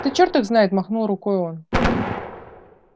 да чёрт их знает махнул рукой он